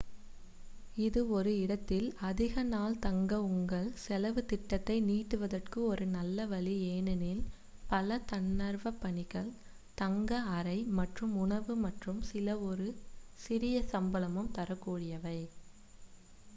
இது ஒரு இடத்தில் அதிக நாள் தங்க உங்கள் செலவுத் திட்டத்தை நீட்டுவதற்கு ஒரு நல்ல வழி ஏனெனில் பல தன்னார்வப் பணிகள் தங்க அறை மற்றும் உணவு மற்றும் சில ஒரு சிறிய சம்பளமும் தரக் கூடியவை